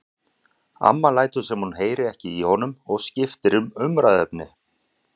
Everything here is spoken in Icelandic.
Amma lætur sem hún heyri ekki í honum og skiptir um umræðuefni.